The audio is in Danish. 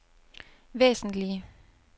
væsentlige